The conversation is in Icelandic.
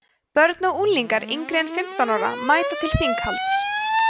börn og unglingar yngri en fimmtán ára mæta til þinghalds